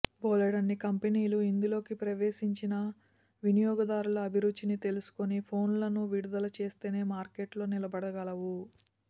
బోలెడన్ని కంపెనీలు ఇందులోకి ప్రవేశించినా వినియోగదారుల అభిరుచిని తెలుసుకుని ఫోన్లను విడుదల చేస్తేనే మార్కెట్లో నిలబడగలవు